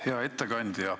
Hea ettekandja!